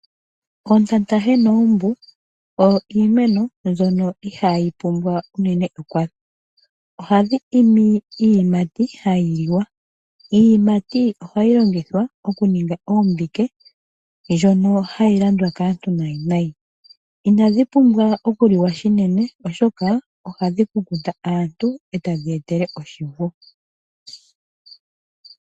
Oontatahe noombu iimeno mbyono ihayi pumbwa ekwatho, ohadhi imi iiyimati hayi liwa. Iiyimati ohayi longithwa okuninga ombike ndjoka hayi landwa kaantu nayi nayi. Inadhi pumbwa okuliwa shinene oshoka ohadhi kunkuta aantu eta dhiya etele oshinku.